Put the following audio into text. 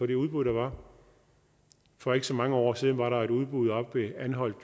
det udbud der var for ikke så mange år siden var der et udbud oppe ved anholt